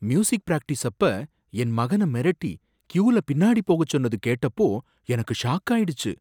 music practice அப்ப என் மகன மிரட்டி க்யூல பின்னாடி போகச் சொன்னது கேட்டப்போ எனக்கு ஷாக்காயிடுச்சு